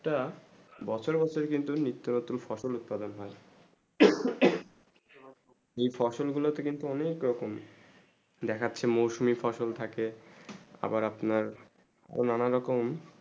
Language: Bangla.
বছর বছর কিন্তু নিত্তম রতন ফসল উৎপাদন হয়ে এই ফসল গুলু তো কিন্তু অনেক রকম দেখছে মোসোমই ফসল আছে আবার আপনার নানা রকম